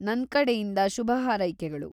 ನನ್ಕಡೆಯಿಂದ ಶುಭಹಾರೈಕೆಗಳು.